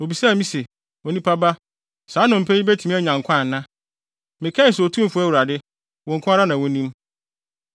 Obisaa me se, “Onipa ba, saa nnompe yi betumi anya nkwa ana?” Mekae se, “Otumfo Awurade, wo nko ara na wunim.”